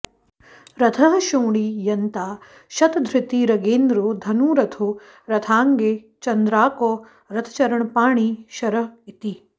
रथः क्षोणी यन्ता शतधृतिरगेन्द्रो धनुरथो रथाङ्गे चन्द्रार्कौ रथचरणपाणिः शर इति